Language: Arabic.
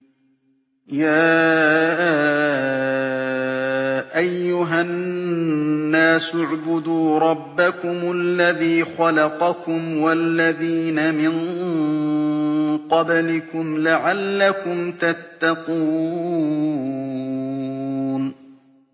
يَا أَيُّهَا النَّاسُ اعْبُدُوا رَبَّكُمُ الَّذِي خَلَقَكُمْ وَالَّذِينَ مِن قَبْلِكُمْ لَعَلَّكُمْ تَتَّقُونَ